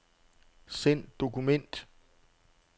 Send dokument.